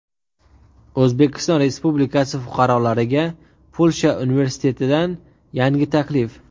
O‘zbekiston Respublikasi fuqarolariga Polsha universitetidan yangi taklif.